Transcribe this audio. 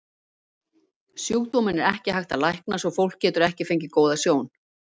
Sjúkdóminn er ekki hægt að lækna svo fólk getur ekki fengið góða sjón.